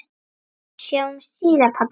Sjáumst síðar, pabbi minn.